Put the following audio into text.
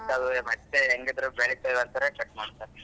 ಬೆಳೀತಾವೆ ಹೆಂಗಿದ್ರು ಬೆಳೀತಾವೆ ಅಂತಾನೆ cut ಮಾಡ್ತಾರೆ.